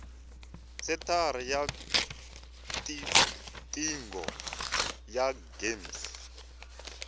senthara ya tiqingho ya gems